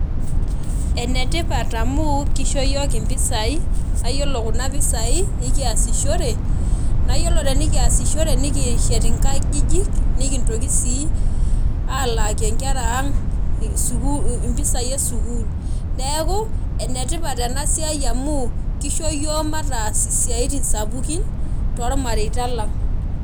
Enetipat amu kisho yiok impisai naa yiolo kuna pisai ekiasishore, naa yiolo tenikiasishore , nikishet inkajijik , nikintoki sii alaaki nkera aang sukuul , impisai esukuul , neeku enetipat enasiai amu kisho yiok mataas isiatin sapuk tormareita lang.